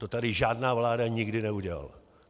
To tady žádná vláda nikdy neudělala.